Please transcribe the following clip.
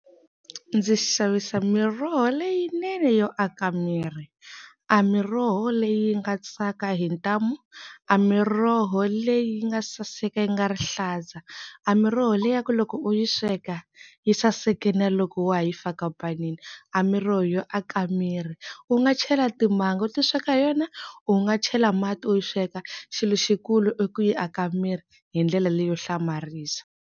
Ndzi xavisa miroho leyinene yo aka miri, a miroho leyi nga tsaka hi ntamu, a miroho leyi nga saseka yi nga rihlaza, a miroho leyaku loko u yi sweka yi saseka na loko wa ha yi faka panini, a miroho yo aka miri, u nga chela timanga u ti sweka hi yona u nga chela mati u yi sweka xilo xikulu yi aka miri hi ndlela leyo hlamarisa.